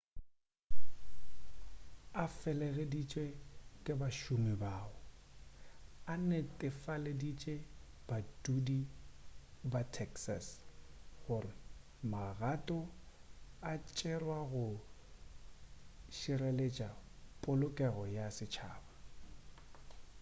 a fegeleditše ke bašomi bao o netefaleditše badudi ba texas gore magato a tšerwa go šireletša polokego ya setšhaba